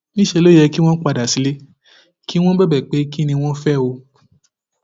níṣẹ ló yẹ kí wọn padà sílé kí wọn bẹbẹ pé kín ni wọn fẹ o